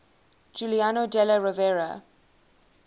giuliano della rovere